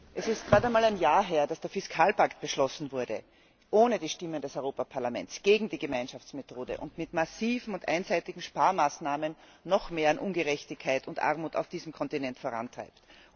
Es ist gerade einmal ein Jahr her, dass der Fiskalpakt beschlossen wurde ohne die Stimme des Europäischen Parlaments, gegen die Gemeinschaftsmethode und mit massiven und einseitigen Sparmaßnahmen noch mehr an Ungerechtigkeit und Armut auf diesem Kontinent vorantreibt.